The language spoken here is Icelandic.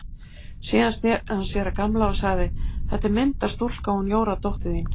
Síðan sneri hann sér að Gamla og sagði: Þetta er myndarstúlka, hún Jóra dóttir þín.